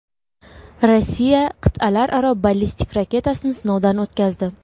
Rossiya qit’alararo ballistik raketasini sinovdan o‘tkazdi.